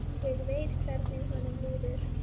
Ég veit hvernig honum líður.